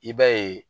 I b'a ye